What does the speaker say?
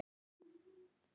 Nonni fór með honum.